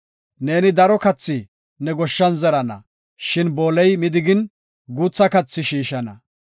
Neeni daro kathi ne goshshan zerana; shin booley midigin, guutha kathi shiishana.